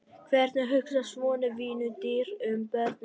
Hvernig hugsar svona vinnudýr um börnin sín?